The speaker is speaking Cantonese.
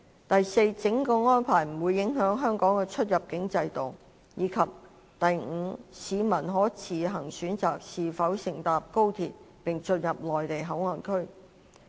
第四，整個安排不會影響香港的出入境制度；及第五，市民可自行選擇是否乘搭高鐡並進入內地口岸區。